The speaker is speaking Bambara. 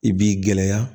I b'i gɛlɛya